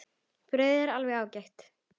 Brauðið er alveg ágætt.